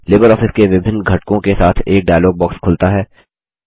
Libre office के विभिन्न घटकों के साथ एक डायलॉग बॉक्स खुलता है